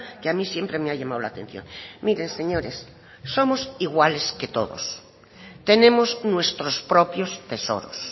que a mí siempre me ha llamado la atención miren señores somos iguales que todos tenemos nuestros propios tesoros